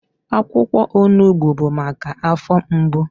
Akwụkwọ onugbu bụ maka afọ mgbu.